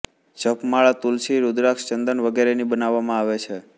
જપમાળા તુલસી રુદ્રાક્ષ ચંદન વગેરેની બનાવવામા આવે છે